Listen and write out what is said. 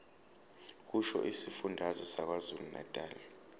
kusho isifundazwe sakwazulunatali